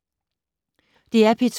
DR P2